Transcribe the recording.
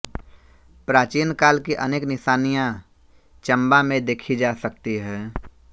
प्राचीन काल की अनेक निशानियां चंबा में देखी जा सकती हैं